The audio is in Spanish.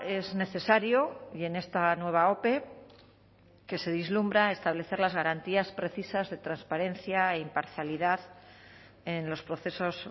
es necesario y en esta nueva ope que se vislumbra establecer las garantías precisas de transparencia e imparcialidad en los procesos